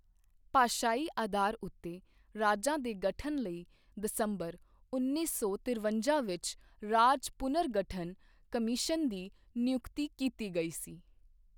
ਭਾਸ਼ਾਈ ਅਧਾਰ ਉੱਤੇ ਰਾਜਾਂ ਦੇ ਗਠਨ ਲਈ ਦਸੰਬਰ ਉੱਨੀ ਸੌ ਤਿਰਵੰਜਾ ਵਿੱਚ ਰਾਜ ਪੁਨਰਗਠਨ ਕਮਿਸ਼ਨ ਦੀ ਨਿਯੁਕਤੀ ਕੀਤੀ ਗਈ ਸੀ।